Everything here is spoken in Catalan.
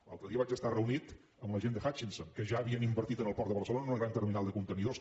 l’altre dia vaig estar reunit amb la gent de hutchinson que ja havien invertit en el port de barcelona en una gran terminal de contenidors